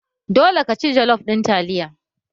Dole ka ci jollof ɗin taliya!